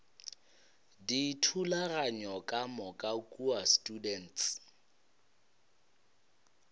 dithulaganyo ka moka kua students